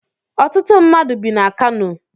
Ọtụtụ mmadụ bi na Kano